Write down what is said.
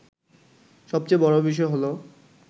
সবচেয়ে বড় বিষয় হলো